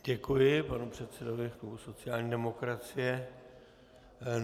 Děkuji panu předsedovi klubu sociální demokracie.